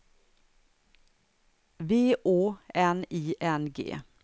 V Å N I N G